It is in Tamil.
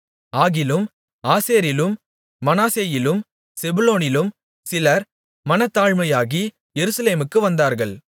ஆகிலும் ஆசேரிலும் மனாசேயிலும் செபுலோனிலும் சிலர் மனத்தாழ்மையாகி எருசலேமுக்கு வந்தார்கள்